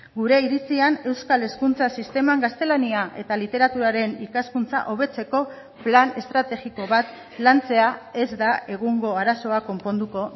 gure iritzian euskal hezkuntza sisteman gaztelania eta literaturaren ikaskuntza hobetzeko plan estrategiko bat lantzea ez da egungo arazoa konponduko